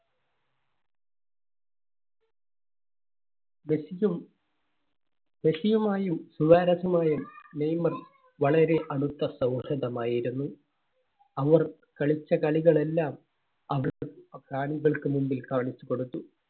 മെസ്സിക്കും മെസ്സിയുമായും സുവാരസുമായും നെയ്‌മർ വളരെ അടുത്ത സൗഹൃദമായിരുന്നു. അവർ കളിച്ച കളികൾ എല്ലാം കാണികൾക്ക് മുൻപിൽ കാണിച്ചു കൊടുത്തു.